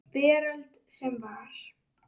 Veröld sem var.